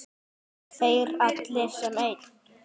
Þeir allir sem einn?